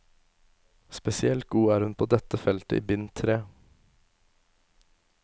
Spesielt god er hun på dette feltet i bind tre.